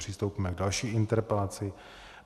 Přistoupíme k další interpelaci.